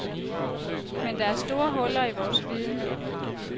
Men der er store huller i vores viden.